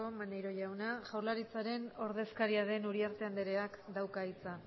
maneiro jauna jaurlaritzaren ordezkaria den uriarte andreak dauka hitza